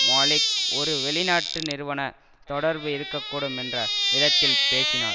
மாலிக் ஒரு வெளிநாட்டு நிறுவன தொடர்பு இருக்க கூடும் என்ற விதத்தில் பேசினார்